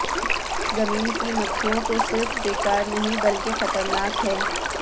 زمین کی مکھیوں کو صرف بیکار نہیں بلکہ خطرناک ہے